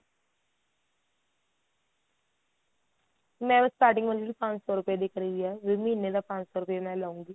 ਮੈਂ ਵੈਸੇ starting ਮਤਲਬ ਕੀ ਪੰਜ ਸੋ ਰੁਪਏ ਦੀ ਕਰੀ ਏ ਵੀ ਮਹੀਨੇ ਦਾ ਪੰਜ ਸੋ ਰੁਪਏ ਲਉਗੀ